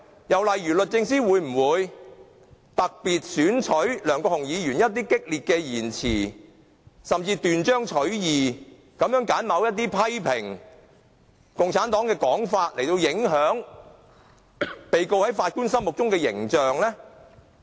又例如，律政司會否特別選取梁國雄議員某一些激烈的言詞，甚至斷章取義地揀選他某些批評共產黨的說法，以影響被告在法官心目中的形象呢？